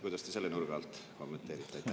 Kuidas te selle nurga alt kommenteerite?